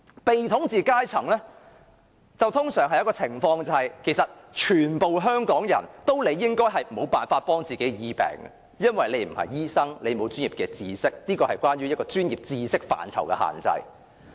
被統治階層通常出現的情況，是所有香港人理應無法自醫，因為他們並非醫生，沒有這方面的專業知識，這是關乎專業知識範疇的限制。